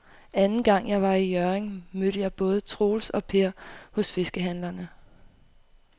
Anden gang jeg var i Hjørring, mødte jeg både Troels og Per hos fiskehandlerne.